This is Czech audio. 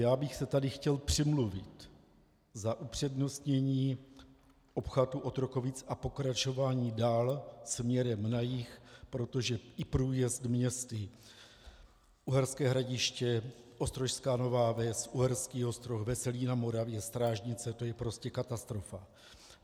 Já bych se tady chtěl přimluvit za upřednostnění obchvatu Otrokovic a pokračování dál směrem na jih, protože i průjezd městy Uherské Hradiště, Ostrožská Nová Ves, Uherský Ostroh, Veselí na Moravě, Strážnice, to je prostě katastrofa.